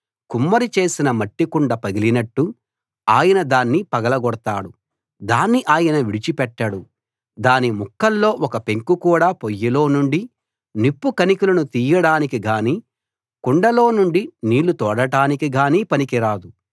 కుమ్మరి చేసిన మట్టి కుండ పగిలినట్టు ఆయన దాన్ని పగలగొడతాడు దాన్ని ఆయన విడిచి పెట్టడు దాని ముక్కల్లో ఒక్క పెంకు కూడా పొయ్యిలో నుండి నిప్పు కణికలను తీయడానికి గానీ కుండలో నుండి నీళ్ళుతోడటానికి గానీ పనికి రాదు